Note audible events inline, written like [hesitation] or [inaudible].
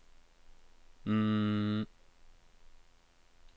[hesitation]